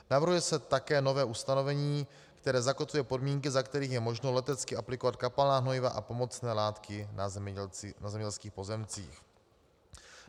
Navrhuje se také nové ustanovení, které zakotvuje podmínky, za kterých je možno letecky aplikovat kapalná hnojiva a pomocné látky na zemědělských pozemcích.